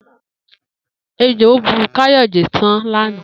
Ejò bu Kayode san lànà.